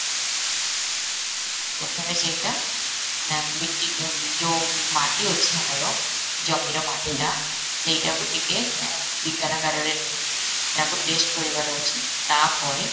ପ୍ରଥମେ ସେଇଟା ନା ମିଟ୍ଟୀ ଯୋଉ ମାଟି ଅଛି ଆମର, ଜମିର ମାଟିଟା ସେଇଟା କୁ ଟିକେ ରେ ନେଇକି ତାକୁ test କରେଇବାର ଅଛି ତାପରେ